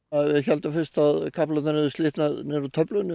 við héldum fyrst að kaplarnir hefði bara slitnað niður úr töflunni